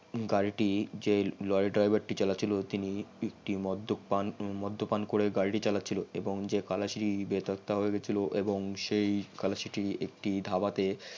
গারিটি যে lorry driver টা চালাইয়াছিল তিনি মদ্দ্যপান করে গারিটি চালাইয়াছিল এবং যেই খালাসি টি বেপাত্তা হয়ে গিলছিল এবং সেই খালাসি টি একটি ধাবাতে